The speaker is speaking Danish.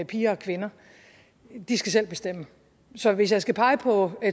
piger og kvinder de skal selv bestemme så hvis jeg skal pege på